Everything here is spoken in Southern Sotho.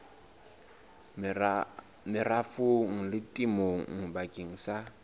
merafong le temong bakeng sa